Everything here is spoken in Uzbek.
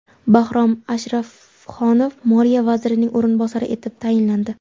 Bahrom Ashrafxonov Moliya vazirining o‘rinbosari etib tayinlandi.